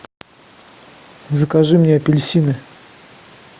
закажи мне апельсины